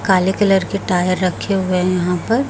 काले कलर के टायर रखे हुए हैं यहां पर--